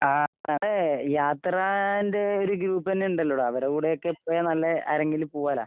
ആഹ് ഇമ്മടെ യാത്രാന്റെ ഒര് ഗ്രൂപ്പെന്നെയുണ്ടല്ലോടാ? അവരെ കൂടെയൊക്കെ പോയാ നല്ല ആരെങ്കിലും പൂവല്ലോ?